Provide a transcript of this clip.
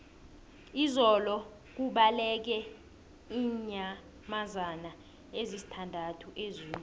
izolo kubaleke iinyamazana ezisithandathu ezoo